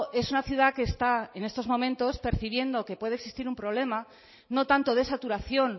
es una ciudad que está en estos momentos percibiendo que puede existir un problema no tanto de saturación